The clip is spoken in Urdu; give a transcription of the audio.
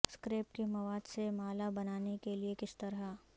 سکریپ کے مواد سے مالا بنانے کے لئے کس طرح